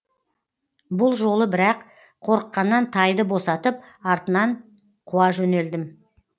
бұл жолы бірақ қорыққаннан тайды босатып артынан қуа жөнелдім